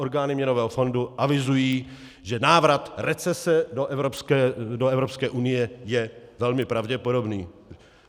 Orgány Měnového fondu avizují, že návrat recese do Evropské unie je velmi pravděpodobný.